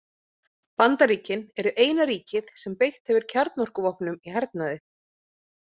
Bandaríkin eru eina ríkið sem beitt hefur kjarnorkuvopnum í hernaði.